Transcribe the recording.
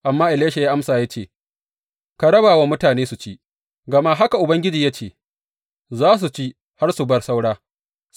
Amma Elisha ya amsa ya ce, Ka raba wa mutane su ci, gama haka Ubangiji ya ce, Za su ci har su bar saura.’